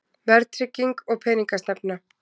Verðtrygging og peningastefna.